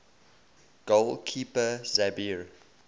goal keeper sabir